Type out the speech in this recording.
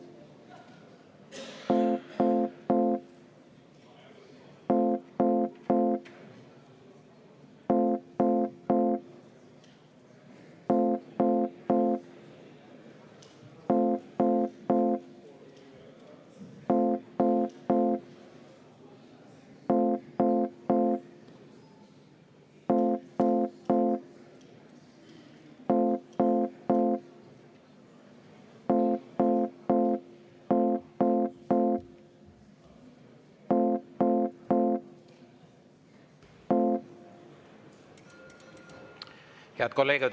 Head kolleegid!